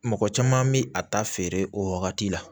Mɔgɔ caman bi a ta feere o wagati la